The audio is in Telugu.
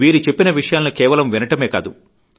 వీరు చెప్పిన విషయాలను కేవలం వినడమే కాదు